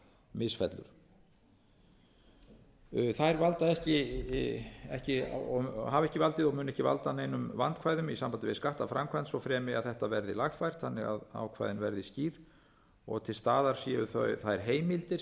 misfellur þær hafa ekki valdið og munu ekki valda neinum vandkvæðum í sambandi við skattaframkvæmd svo fremi að þetta verði lagfært þannig að ákvæðin verði skýr og til staðar séu þær heimildir